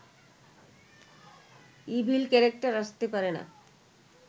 evil character আসতে পারে না